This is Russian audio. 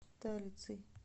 талицей